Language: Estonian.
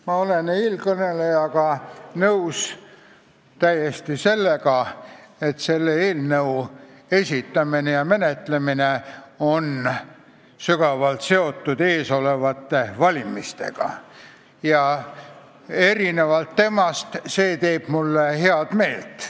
Ma olen eelkõnelejaga täiesti nõus, et selle eelnõu esitamine ja menetlemine on seotud ees olevate valimistega, aga erinevalt temast see teeb mulle head meelt.